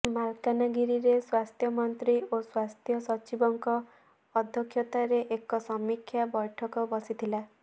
ମାଲକାନଗିରିରେ ସ୍ୱାସ୍ଥ୍ୟମନ୍ତ୍ରୀ ଓ ସ୍ୱାସ୍ଥ୍ୟ ସଚିବଙ୍କ ଅଧ୍ୟକ୍ଷତାରେ ଏକ ସମୀକ୍ଷା ବୈଠକ ବସିଥିଲା